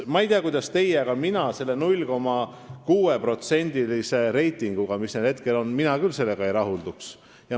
Ma ei tea, kuidas teie, aga mina küll selle 0,6%-lise reitinguga, mis neil hetkel on, ei rahulduks.